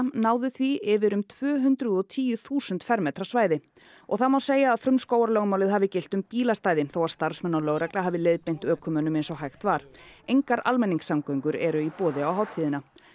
náðu því yfir um tvö hundruð og tíu þúsund fermetra svæði og það má segja að frumskógarlögmálið hafi gilt um bílastæði þó að starfsmenn og lögregla hafi leiðbeint ökumönnum eins og hægt var engar almenningssamgöngur eru í boði á hátíðina